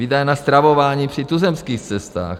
Výdaje na stravování při tuzemských cestách.